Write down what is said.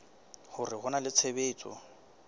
hore ho na le tshebetso